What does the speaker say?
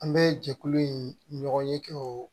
An bɛ jɛkulu in ɲɔgɔn ye kɛ o